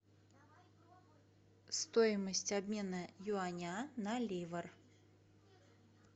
стоимость обмена юаня на ливр